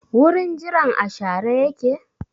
Wurin jiran a share yake?